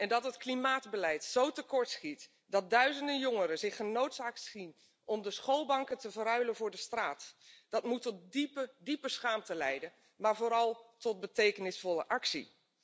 Dat het klimaatbeleid zo tekortschiet dat duizenden jongeren zich genoodzaakt zien om de schoolbanken te verruilen voor de straat, dat moet tot diepe, diepe schaamte leiden, maar vooral tot betekenisvolle actie.